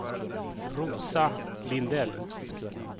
Rosa Lindell